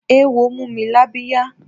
Eéwo mú mi lábíyá.